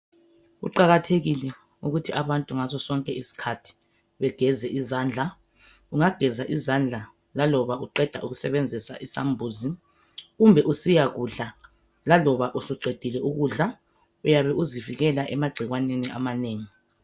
Kuqakathekile ukuthi abantu ngasso sonke isikhathi begeze izandla. Geza izandla laloba uqeda ukusebenzisa isambuzi kumbe usiyadlala laloba usuqedile ukudla uyabe uzivikela agcikwaneni amanengi.